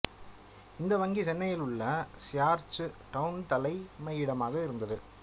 இந்த வங்கி சென்னையில் உள்ள சியார்ச்சு டவுன் தலைமையிடமாக இருந்தது